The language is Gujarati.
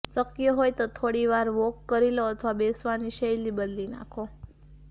શક્ય હોય તો થોડીવાર વોક કરી લો અથવા બેસવાની શૈલી બદલી નાખો